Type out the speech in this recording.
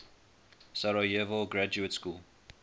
sarajevo graduate school